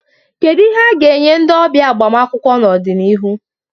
Kedu ihe a ga-enye ndị ọbịa agbamakwụkwọ n'ọdịnihu?